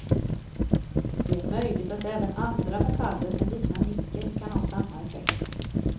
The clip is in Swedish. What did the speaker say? Det är möjligt att även andra metaller som liknar nickel kan ha samma effekt.